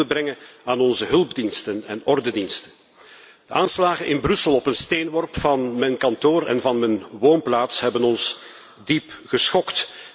Ik wil ook hulde brengen aan onze hulpdiensten en ordediensten. De aanslagen in Brussel op een steenworp van mijn kantoor en van mijn woonplaats hebben ons diep geschokt.